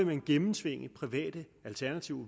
man gennemtvinge private alternativer og